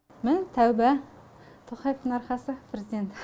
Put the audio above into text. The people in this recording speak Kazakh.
міні тәуба тоқаевтың арқасы президент